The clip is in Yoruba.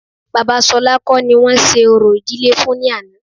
Bàbá Ṣolá kọ́ ni wọ́n ṣe orò ìdílé fún ní àná